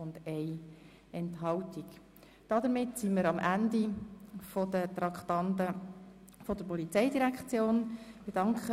Wir sind am Ende der Traktanden der Polizeidirektion angelangt.